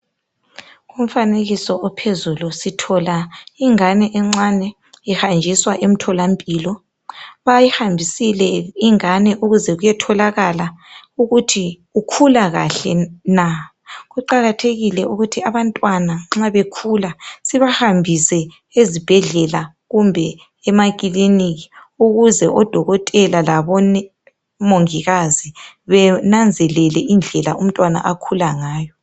umfanekiso ophezulu sithola ingane encane ihanjiswa emtholampilo bayihambisile ingane ukuze kuyetholakala ukuthi ukhula kahle na kuqakathekile ukuthi abantwana nxa bekhula sibahambise ezibhedlela kumbe emakiliniki ukuze odokotela labo mongikazi benanzelele indlela umntwana akhula ngayo